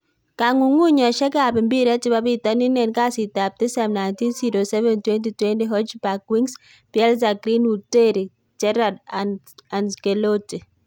Kong'ung'uyosiekab mpiret chebo pitonin en kasitap tisap 19/07/2020: Hojbjerg, Winks, Bielsa, Greenwood, Terry, Gerrard, Ancelotti